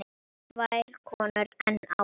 Tvær konur enn á ferð.